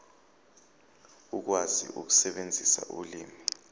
ukwazi ukusebenzisa ulimi